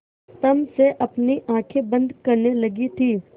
तम से अपनी आँखें बंद करने लगी थी